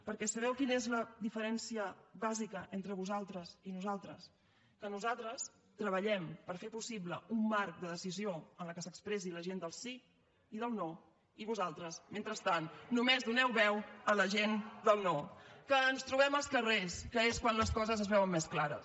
perquè sabeu quina és la diferència bàsica entre vosaltres i nosaltres que nosaltres treballem per fer possible un marc de decisió en el que s’expressi la gent del sí i del no i vosaltres mentrestant només doneu veu a la gent del no que ens trobem als carrers que és quan les coses es veuen més clares